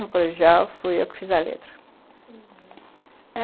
No colegial fui eu que fiz a letra, uhum.